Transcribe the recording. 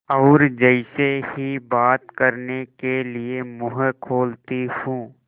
और जैसे ही बात करने के लिए मुँह खोलती हूँ